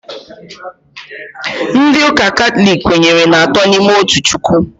Ndị ụka katọlik kwenyere n'atọ n'ime otu Chukwu